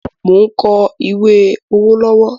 Mo ń kọ ìwé owó lọ́wọ́